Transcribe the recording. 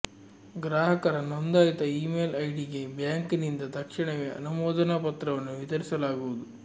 ಗ್ರಾಹಕರ ನೋಂದಾಯಿತ ಇಮೇಲ್ ಐಡಿಗೆ ಬ್ಯಾಂಕಿನಿಂದ ತಕ್ಷಣವೇ ಅನುಮೋದನಾ ಪತ್ರವನ್ನು ವಿತರಿಸಲಾಗುವುದು